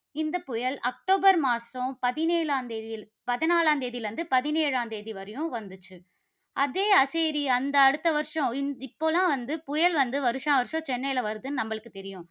இந்த புயல் அக்டோபர் மாதம் பதினேழாம் தேதி, பதினாலாம் தேதியிலிருந்து பதினேழாம் தேதி வரையும் வந்துச்சு. அதே சரி அந்த அடுத்த வருஷம், இப்பலாம் வந்து புயல் வந்து வருஷா வருஷம் சென்னையில வருது நம்மளுக்கு தெரியும்.